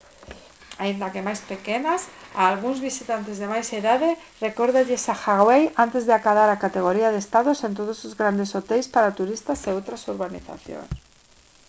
aínda que máis pequenas a algúns visitantes de máis idade recórdalles a hawai antes de acadar a categoría de estado sen todos os grandes hoteis para turistas e outras urbanizacións